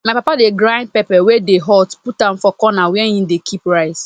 my papa dey grind pepper wey dey hot put am for corner where he dey keep rice